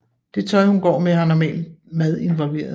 Det tøj hun går med har normalt mad involveret